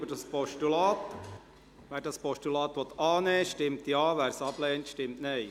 Wer dieses Postulat annehmen will, stimmt Ja, wer es ablehnt, stimmt Nein.